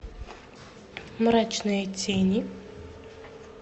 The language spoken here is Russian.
мрачные тени